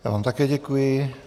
Já vám také děkuji.